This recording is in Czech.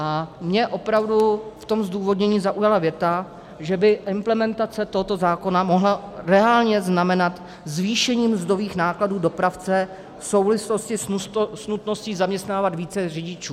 A mě opravdu v tom zdůvodnění zaujala věta, že by implementace tohoto zákona mohla reálně znamenat zvýšení mzdových nákladů dopravce v souvislosti s nutností zaměstnávat více řidičů.